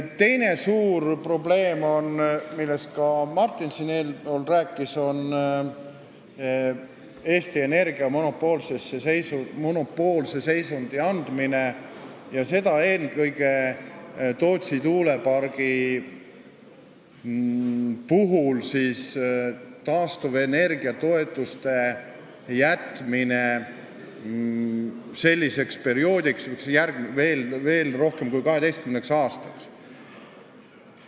Teine suur probleem, millest ka Martin eespool rääkis, on Eesti Energiale monopoolse seisundi andmine, seda eelkõige sellega, et Tootsi tuulepargile jäetakse taastuvenergia toetused veel rohkem kui 12 aastaks.